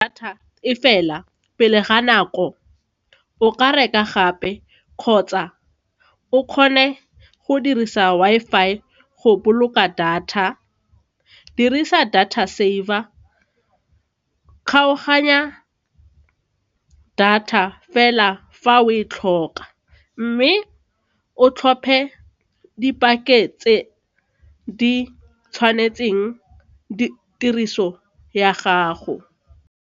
Data e fela pele ga nako o ka reka gape kgotsa o kgone go dirisa Wi-Fi go boloka data dirisa data saver, kgaoganya data fela fa o e tlhoka mme o tlhophe tse di tshwanetseng tiriso ya gago.